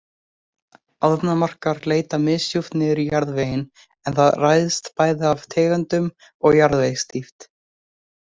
Ánamaðkar leita misdjúpt niður í jarðveginn en það ræðst bæði af tegundum og jarðvegsdýpt.